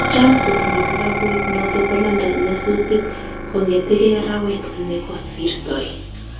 Cham kotinye klabuit noto bo london nyasutik kong'etegei arawet ne kosirtoi